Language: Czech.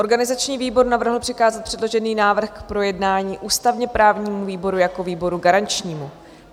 Organizační výbor navrhl přikázat předložený návrh k projednání ústavně-právnímu výboru jako výboru garančnímu.